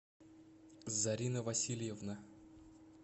зарина васильевна